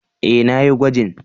E, na yi gwajin.